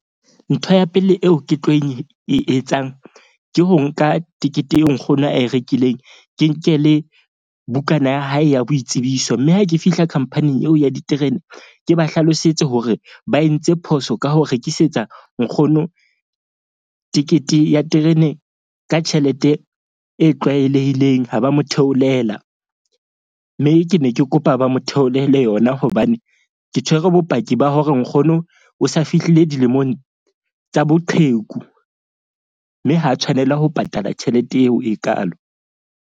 Ntho ya pele eo ke tlo e etsang ke ho nka tekete eo nkgono ae rekileng. Ke nke le bukana ya hae ya boitsebiso. Mme ha ke fihla khampaning eo ya diterene. Ke ba hlalosetse hore ba entse phoso ka ho rekisetsa nkgono tekete ya terene ka tjhelete e tlwaelehileng. Ha ba mo theolela mme ke ne ke kopa ba mo theolele yona hobane ke tshwere bopaki ba hore nkgono o sa fihlile dilemong tsa boqheku. Mme ha tshwanela ho patala tjhelete eo e kaalo.